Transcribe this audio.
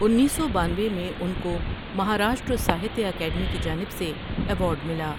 انیس سو بانوے میں ان کو مہاراشٹر ساہتیہ اکیڈمی کی جانب سے ایوارڈ ملا ۔